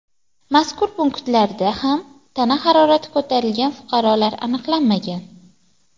Mazkur punktlarda ham tana harorati ko‘tarilgan fuqarolar aniqlanmagan.